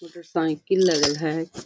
Motor cycle लगल है।